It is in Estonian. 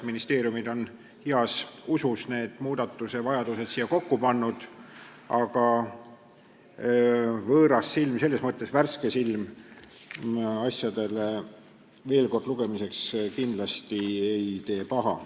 Ministeeriumid on heas usus need muudatused siia kokku pannud, aga võõras silm, selles mõttes, et värske silm, ei tee veel kord lugemisel kindlasti paha.